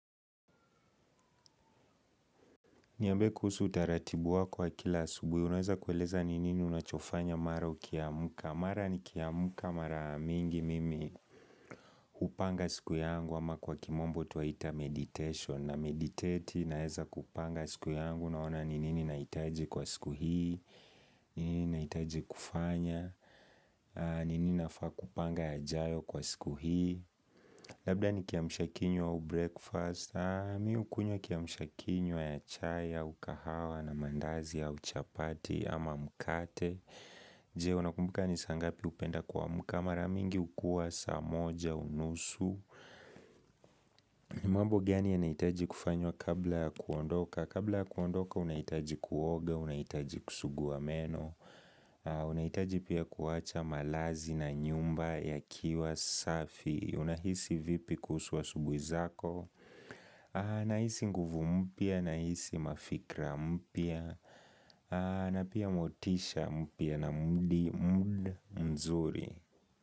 Niambie kuhusu utaratibu wako wa kila asubuhi. Unaeza kueleza ni nini unachofanya mara ukiamuka. Mara ni kiamuka mara mingi mimi hupanga siku yangu ama kwa kimombo twaita meditation. Na meditati naeza kupanga siku yangu naona ni nini nahitaji kwa siku hii. Ni nini nahitaji kufanya. Ni nini nafaa kupanga ya jayo kwa siku hii. Labda ni kiamsha kinywa au breakfast, mi hukunywa kiamsha kinywa ya chai, au kahawa na mandazi au chapati ama mkate Je, unakumbuka ni saa ngapi hupenda kuamuka, mara mingi hukua, saa moja, unusu mambo gani yanahitaji kufanywa kabla ya kuondoka? Kabla ya kuondoka, unahitaji kuoga, unahitaji kusuguwa meno unahitaji pia kuwacha malazi na nyumba yakiwa safi. Unahisi vipi kuhusu asubuhi zako na hisi nguvu mpya nahisi mafikra mpya na pia motisha mpya na mudi mzuri.